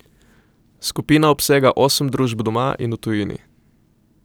Skupina obsega osem družb doma in v tujini.